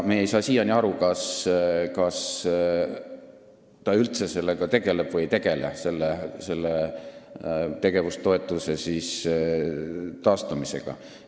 Me ei saa siiani aru, kas ta üldse tegeleb või ei tegele tegevustoetuse taastamisega.